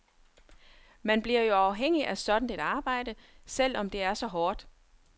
Man bliver jo afhængig af sådan et arbejde, selv om det er så hårdt.